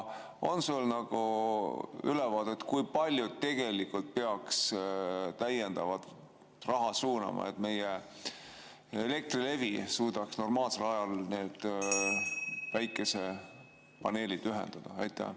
On sul ülevaadet, kui palju tegelikult peaks täiendavat raha suunama, et meie Elektrilevi suudaks normaalsel ajal päikesepaneelid ühendada?